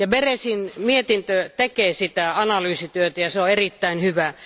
Berèsin mietintö tekee tätä analyysityötä ja se on erittäin hyvä.